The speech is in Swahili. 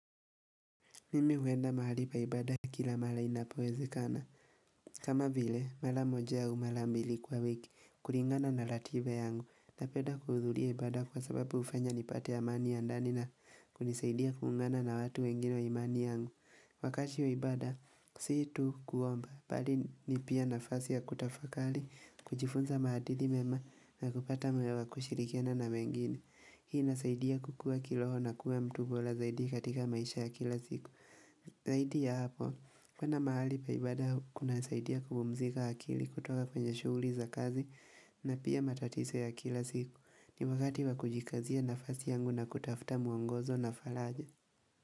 Mimi huenda mahali pa ibaada kila mara inapowezekana. Kama vile, mara moja au mara mbili kwa wiki, kulingana na ratiba yangu, napenda kuhudhuria ibaada kwa sababu hufanya nipate amani ya ndani na kunisaidia kuungana na watu wengine wa imani yangu. Wakati wa ibada, si tu kuomba, bali ni pia nafasi ya kutafakari, kujifunza maadili mema na kupata moyo wa kushirikiana na wengine. Hii inasaidia kukua kiroho na kuwa mtu bora zaidi katika maisha ya kila siku. Zaidi ya hapo, kwenda mahali pa ibaada kunasaidia kupumzika akili kutoka kwenye shughuli za kazi na pia matatizo ya kila siku. Ni wakati wa kujikazia nafasi yangu na kutafuta mwongozo na faraja.